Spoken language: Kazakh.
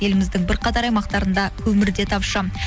еліміздің бірқатар аймақтарында көмір де тапшы